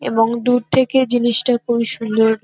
এবং দূর থেকে জিনিস টা খুবই সুন্দর।